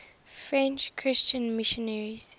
french christian missionaries